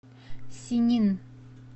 синин